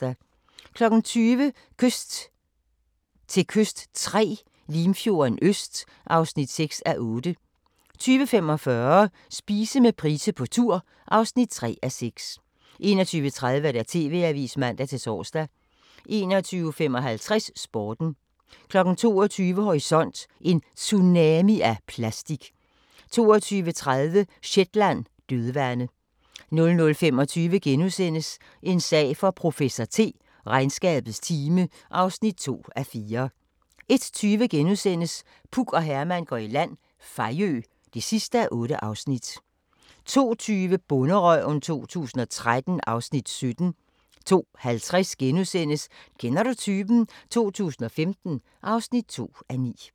20:00: Kyst til kyst III – Limfjorden Øst (6:8) 20:45: Spise med Price på tur (3:6) 21:30: TV-avisen (man-tor) 21:55: Sporten 22:00: Horisont: En tsunami af plastik 22:30: Shetland: Dødvande 00:25: En sag for professor T: Regnskabets time (2:4)* 01:20: Puk og Herman går i land – Fejø (8:8)* 02:20: Bonderøven 2013 (Afs. 17) 02:50: Kender du typen? 2015 (2:9)*